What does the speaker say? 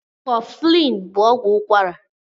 Kọflin bú ọgwụ ụkwara